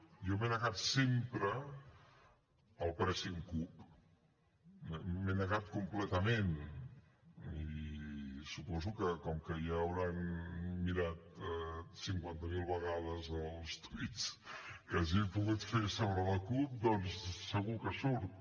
jo m’he negat sempre al pressing cup m’he negat completament i suposo que com que ja hauran mirat cinquanta mil vegades els tuits que hagi pogut fer sobre la cup doncs segur que surt